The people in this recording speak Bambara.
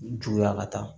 Juguya ka taa